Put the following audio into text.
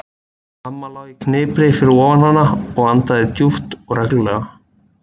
Amma lá í hnipri fyrir ofan hana og andaði djúpt og reglulega.